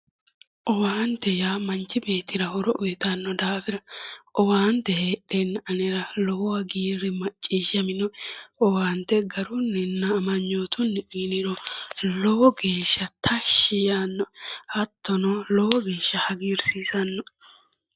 Owaante yaa manchi beettira horo uyittano daafira owaante heedhenna anera lowo hagiiri macciishshaminoe ,owaante garuninna amanyotuni uyiniro lowo geeshsha tashshi yaanoe, hattono lowo geeshsha hagiirsisanoe.